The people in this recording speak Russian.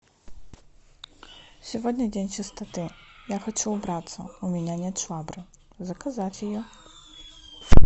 сегодня день чистоты я хочу убраться у меня нет швабры заказать ее